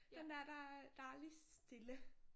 Den dér der der er lige stille